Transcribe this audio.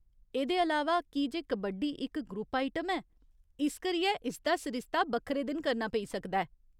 एह्दे अलावा, की जे कबड्डी इक ग्रुप आइटम ऐ, इस करियै इसदा सरिस्ता बक्खरे दिन करना पेई सकदा ऐ।